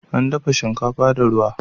Ana dafa shinkafa da ruwa.